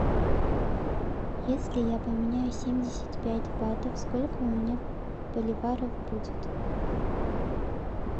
если я поменяю семьдесят пять батов сколько у меня боливаров будет